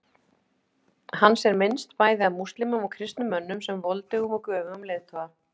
Hans er minnst, bæði af múslímum og kristnum mönnum, sem voldugum og göfugum leiðtoga.